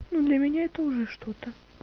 ну для меня это уже что-то